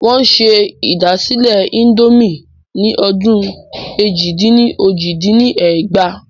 Wọn ṣe ìdásílẹ́ índòmí ni ọdún èjì-dín-ní-ojì dín ní ẹgbàá.